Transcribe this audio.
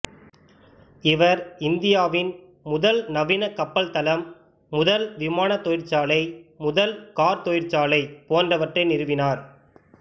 இவர் இந்தியாவின் முதல் நவீன கப்பல் தளம் முதல் விமானத் தொழிற்சாலை முதல் கார் தொழிற்சாலை போன்றவற்றை நிறுவினார்